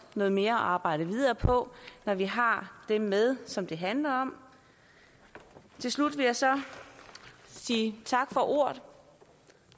noget mere at arbejde videre på når vi har det med som det handler om til slut vil jeg så sige tak for ordet